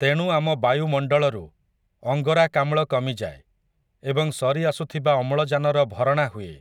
ତେଣୁ ଆମ ବାୟୁମଣ୍ଡଳରୁ, ଅଙ୍ଗରାକାମ୍ଳ କମିଯାଏ, ଏବଂ ସରି ଆସୁଥିବା ଅମ୍ଳଜାନର ଭରଣା ହୁଏ ।